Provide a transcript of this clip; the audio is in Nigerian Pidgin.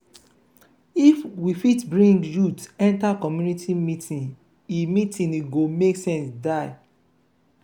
if we fit bring youth enter community meeting e meeting e go make sense die.